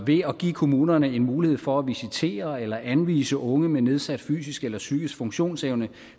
ved at give kommunerne mulighed for at visitere eller anvise unge med nedsat fysisk eller psykisk funktionsevne